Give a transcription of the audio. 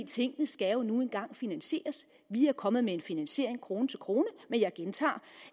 tingene skal jo nu engang finansieres vi er kommet med en finansiering krone til krone men jeg gentager